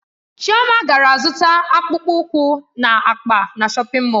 Chioma gara zụta akpụkpọ ụkwụ na akpa na shọpin Mọll.